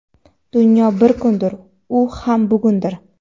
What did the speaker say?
Dunyo bir kundir - u ham bugundir.